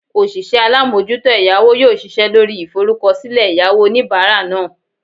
osise alamojuto eyawo yoo sise lori iforukosile eyawo onibara naa